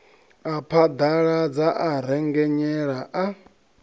a phaḓaladza a rengenyela a